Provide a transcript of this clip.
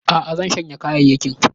Aa, zan shanya kayayyakin